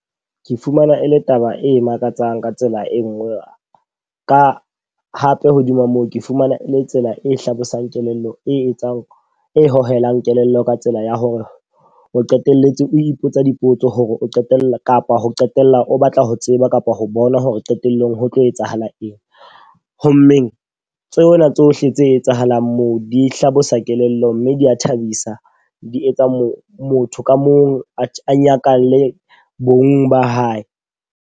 Ke fumana e le taba e makatsang ka tsela e nngwe. Ka hape hodima moo ke fumana e le tsela e hlabosang kelello e etsang e hohelang kelello ka tsela ya hore o qetelletse o ipotsa dipotso hore o qetella kapa ho qetella o batla ho tseba kapa ho bona hore qetellong ho tlo etsahala eng. Ho mmeng tsona tsohle tse etsahalang moo di hlabosa kelello mme di a thabisa, di etsa mo motho ka mong a nyakalle bong ba hae.